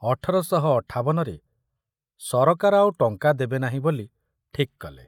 ଅଠର ଶହ ଅଠାବନ ରେ ସରକାର ଆଉ ଟଙ୍କା ଦେବେ ନାହିଁ ବୋଲି ଠିକ କଲେ